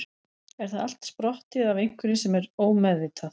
er það allt sprottið af einhverju sem er ómeðvitað